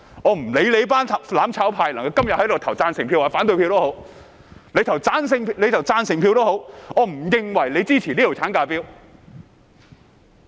我不管"攬炒派"今天投贊成票或反對票，即使他們投贊成票，我也不會認為他們支持這項產假法案。